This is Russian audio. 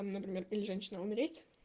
там например или женщина умереть